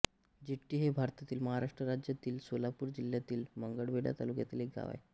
जिट्टी हे भारतातील महाराष्ट्र राज्यातील सोलापूर जिल्ह्यातील मंगळवेढा तालुक्यातील एक गाव आहे